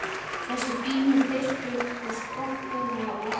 Þessi fínu peysuföt og skotthúfa og allt.